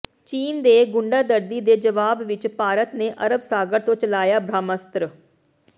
ਚੀਨ ਦੇ ਗੁੰਡਾਗਰਦੀ ਦੇ ਜਵਾਬ ਵਿਚ ਭਾਰਤ ਨੇ ਅਰਬ ਸਾਗਰ ਤੋਂ ਚਲਾਇਆ ਬ੍ਰਾਹਮਾਸਤਰ